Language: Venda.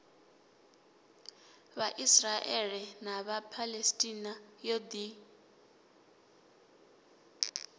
vhaisraele na vhaphalestina yo ḓi